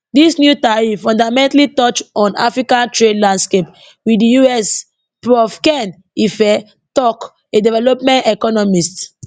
dis new tariff fundamentally touch on africa trade landscape wit di us prof ken ife tok a development economist